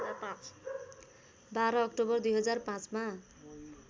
१२ अक्टोबर २००५ मा